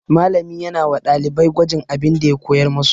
Malami yana wa ɗalibai gwajin abin da ya koyar musu.